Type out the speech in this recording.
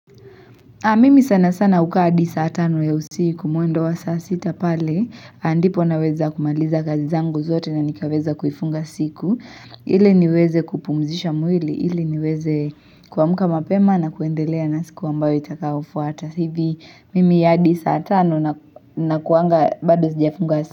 Mimi sana sana ukaa adi saa tano ya usiku, mwendo wa saa sita pale, ahh ndipo naweza kumaliza kazi zangu zote na nikaweza kuifunga siku. Hhh ile niweze kupumzisha mwili, ili niweze kwamka mapema na kuendelea na siku ambayo itakayofuata. Hivi mimi aadi saa tano nak na kuanga bado sijafunga sik.